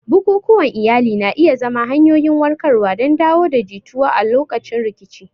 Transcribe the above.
Bukukuwan iyali na iya zama hanyoyin warkarwa don dawo da jituwa a lokacin rikici.